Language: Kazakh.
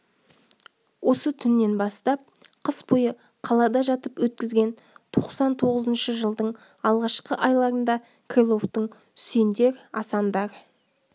осы түннен бастап қыс бойы қалада жатып өткізген тоқсан тоғызыншы жылдың алғашқы айларында крыловтың үсендер асандар